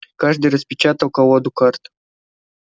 каждый распечатал колоду карт